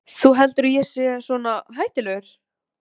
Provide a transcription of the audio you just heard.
Þú heldur að ég sé svona hættulegur?